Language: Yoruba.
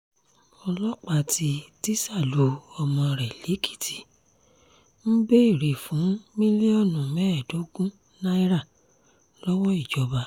ọlọ́pàá tí tísá lu ọmọ rẹ̀ lèkìtì ń béèrè fún mílíọ̀nù mẹ́ẹ̀ẹ́dógún náírà lọ́wọ́ ìjọba